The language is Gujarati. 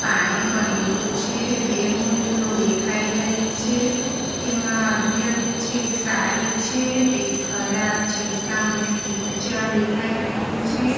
પાણી ગંદુ છે બે હોડીઓ દેખાઈ રહી છે એમાં અડધી અડધી છે એક સારી છે એક ખરાબ છે સામે કિચડ દેખાઈ રહ્યું છે.